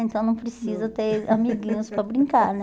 Então não precisa ter amiguinhos para brincar, né?